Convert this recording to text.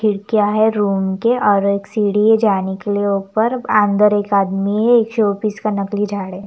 खड़कियाँ है रूम की और एक सीड़ी है जाने के लिए ऊपर अंदर एक आदमी है शोपीस का नकली झाड़ है ।